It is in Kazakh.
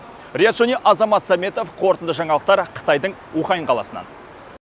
риат шони азамат сәметов қорытынды жаңалықтар қытайдың ухань каласынан